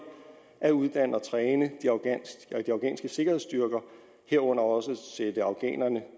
at uddanne og træne de afghanske sikkerhedsstyrker herunder også sætte afghanerne